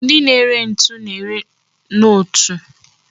Ndi na-ere ntu na-ere nọọtụ